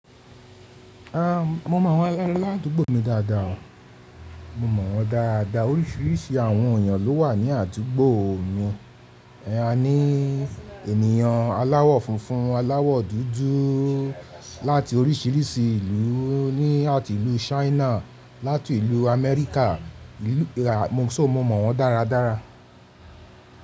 A mo mọ àwọn aládúgbò mi dáadáa o. Mo mọ̀ wọ́n dáadáa. Oríṣiríṣi àwọn èeyàn ló wà ní àdúgbò yen A ní ènìyàn aláwọ̀ funfun, aláwọ̀ dúdú láti oríṣiríṣi ìlú, ní àti ìlú Ṣáínà, láti ìlú Amẹ́ríkà, mo so mọ̀ wọ́n dáradára.